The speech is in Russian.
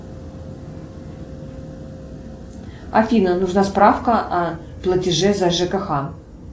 афина нужна справка о платеже за жкх